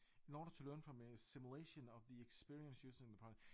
In order to learn from a simulation of the experience using the product